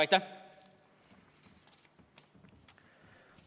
Aitäh!